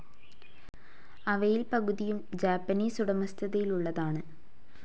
അവയിൽ പകുതിയും ജാപ്പനീസ് ഉടമസ്ഥതയിലുള്ളതാന്.